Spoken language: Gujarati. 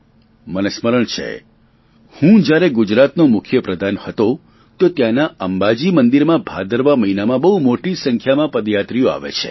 મને સ્મરણ છે હું જ્યારે ગુજરાતનો મુખ્યપ્રધાન હતો તો ત્યાંના અંબાજી મંદિરમાં ભાદરવા મહિનામા બહુ મોટી સંખ્યામાં પદયાત્રીઓ આવે છે